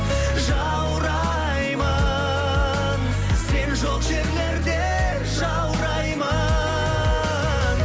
жаураймын сен жоқ жерлерде жаураймын